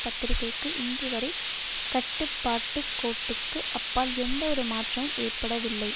பத்திரிகைக்கு இன்றுவரை கட்டுப்பாட்டு கோட்டுக்கு அப்பால் எந்த ஒரு மாற்றமும் ஏற்படவில்லை